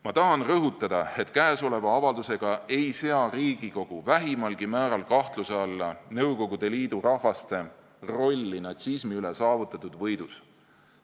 Ma tahan rõhutada, et käesoleva avaldusega ei sea Riigikogu vähimalgi määral kahtluse alla Nõukogude Liidu rahvaste rolli natsismi üle saavutatud võidus.